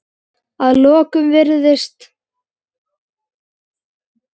Að lokum virðist